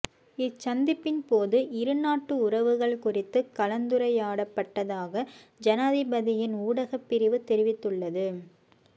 இச்சந்திப்பின் போது இருநாட்டு உறவுகள் குறித்து கலந்துரையாடப்பட்டதாக ஜனாதிபதியின் ஊடகப்பிரிவு தெரிவித்துள்ளது